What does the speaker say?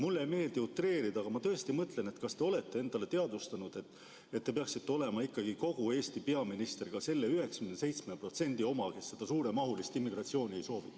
Mulle ei meeldi utreerida, aga ma tõesti mõtlen, kas te olete endale teadvustanud, et te peaksite olema ikkagi kogu Eesti peaminister, ka selle 97% oma, kes seda suuremahulist immigratsiooni ei soovi.